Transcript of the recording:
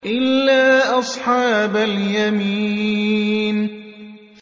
إِلَّا أَصْحَابَ الْيَمِينِ